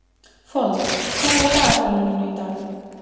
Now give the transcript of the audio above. Fold, hvað er á dagatalinu mínu í dag?